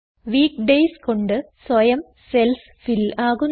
week days കൊണ്ട് സ്വയം cells fill ആകുന്നു